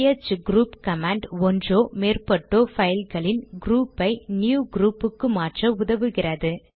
CH group command ஒன்றோ மேற்பட்டோ பைல்களின் க்ரூப்பை ந்யூ க்ரூப்புக்கு மாற்ற உதவுகிறது